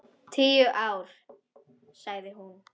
Tíu ár, sagði hún.